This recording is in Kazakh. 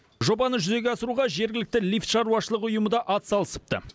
жобаны жүзеге асыруға жергілікті лифт шаруашылығы ұйымы да атсалысыпты